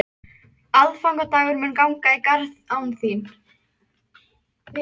Aðfangadagur mun ganga í garð án þín.